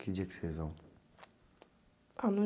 Que dia que vocês vão?